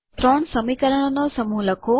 ત્રણ સમીકરણોનો સમૂહ લખો